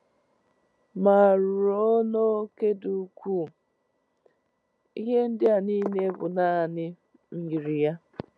Ma, ruo n’óke dị ukwuu, ihe ndị a niile bụ naanị myiri ya.